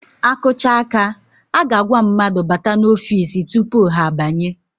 A kụcha áká, a ga-agwa mmadụ bata n'ofiisi tupu ha banye.